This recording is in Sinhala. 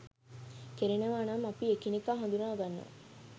කෙරෙනවා නම් අපි එකිනෙකා හඳුනා ගන්නවා